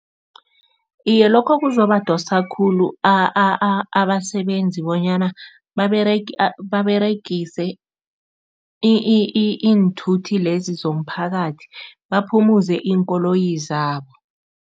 Iye, lokho kuzobadosa khulu abasebenzi bonyana baberegise iinthuthi lezi zomphakathi baphumuze iinkoloyi zabo.